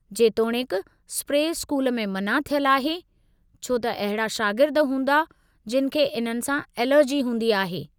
जेतोणीकि, spray school में मना थियल आहे, छो त अहिड़ा शागिर्द हूंदा जिनि खे इन्हनि सां एलर्जी हूंदी आहे।